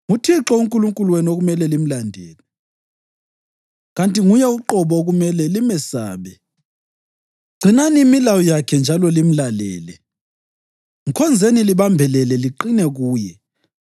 NguThixo uNkulunkulu wenu okumele limlandele, kanti nguye uqobo okumele limesabe. Gcinani imilayo yakhe njalo limlalele; mkhonzeni libambelele liqine kuye.